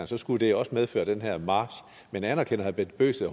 så skulle de også medføre den her march men anerkender herre bent bøgsted